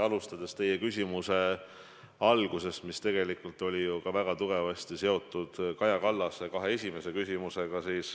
Alustan teie küsimuse algusest, mis oli väga tugevasti seotud Kaja Kallase kahe esimese küsimusega.